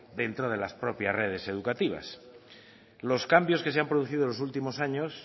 dentro de las propias redes educativas los cambios que se han producido en los últimos años